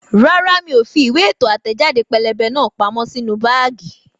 Rárá miò fi ìwé ètò àtẹẹ̀jáde pẹ́lẹ́bẹ́ náà pamọ́ sínú báágì